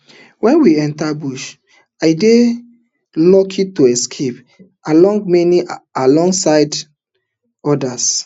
wen we enta bush i dey lucky to escape alongside many alongside many odas